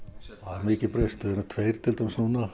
mikið breyst við erum tveir til dæmis núna